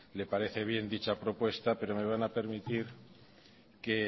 le parece bien dicha propuesta pero me van a permitir que